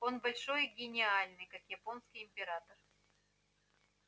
он большой и гениальный как японский император